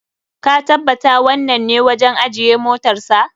Ka tabbata wannan ne wajen ajiye motarsa.